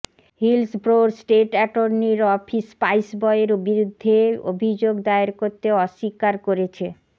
হিলসব্রোর state attorney এর office স্পাইসবইয়ের বিরুদ্ধে অভিযোগ দায়ের করতে অস্বীকার করেছে